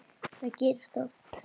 Það gerist oft.